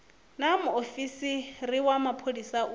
naa muofisi wa mapholisa u